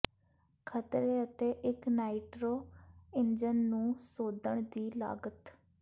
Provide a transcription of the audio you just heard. ਖ਼ਤਰੇ ਅਤੇ ਇਕ ਨਾਈਟਰੋ ਇੰਜਨ ਨੂੰ ਸੋਧਣ ਦੀ ਲਾਗਤ